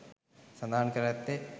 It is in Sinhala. සඳහන් කර ඇත්තේ